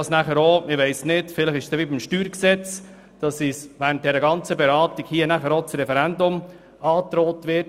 Vielleicht verhält es sich dann wie beim StG, wo während der Beratung das Referendum angedroht wird.